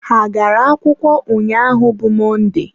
ha agara akwụkwọ ụnyaahụ bụ Mọnde?